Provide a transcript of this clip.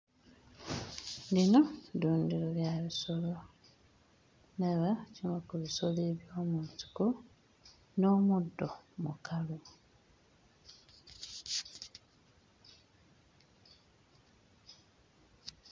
Lino ddundiro lya bisolo ndaba ekimu ku bisolo eby'omu nsiko n'omuddo mukalu.